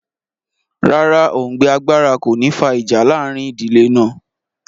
Rárá, òùngbẹ agbára kò ní fa ìjà láàrin ìdílé náà